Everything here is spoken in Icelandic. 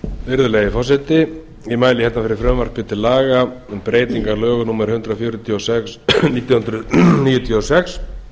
virðulegi forseti ég mæli fyrir frumvarpi til laga um breytingu á lögum númer hundrað fjörutíu og sex nítján hundruð níutíu og sex